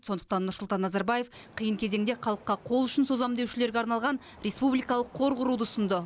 сондықтан нұрсұлтан назарбаев қиын кезеңде халыққа қол ұшын созамын деушілерге арналған республикалық қор құруды ұсынды